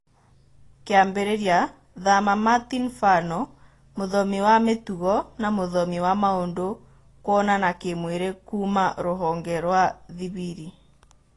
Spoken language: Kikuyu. Kĩambĩrĩria: Thama Martin Fano, mũthomi wa mĩtugo na mũthomi wa maũndũ kuonana kĩmwĩri kuuma rũhonge rũa Thibili.